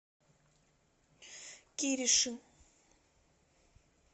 кириши